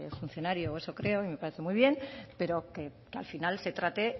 funcionario o eso creo y me parece muy bien pero que al final se trate